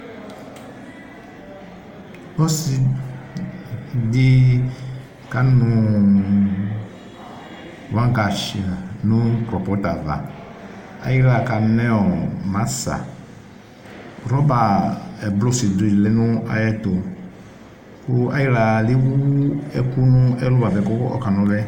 Ɔsidi kanu wagash nu krɔpɔt ava Ayiwla kanɛ masa Rɔba ɛblɔrdi lɛ nayɛtu Ku ayiwla lewu ɛku nɛlu buapɛ kɔkanoluye